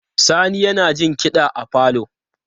Sani yana jin kiɗa a falo.